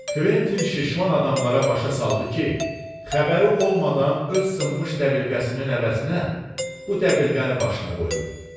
Quentin şişman adamlara başa saldı ki, xəbəri olmadan öz sınmış dəbilqəsinin əvəzinə bu dəbilqəni başına qoyub.